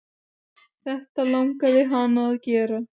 Þetta langaði hana að gera.